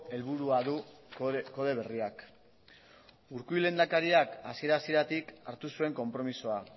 helburua du kode berriak urkullu lehendakariak hasiera hasieratik hartu zuen konpromisoa